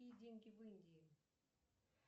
какие деньги в индии